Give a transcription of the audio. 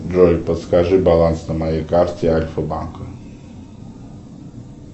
джой подскажи баланс на моей карте альфа банка